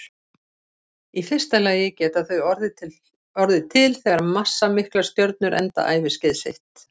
Í fyrsta lagi geta þau orðið til þegar massamiklar stjörnur enda æviskeið sitt.